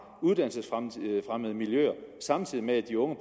uddannelsesfremmede miljøer samtidig med at de unge